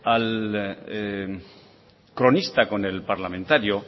al cronista con el parlamentario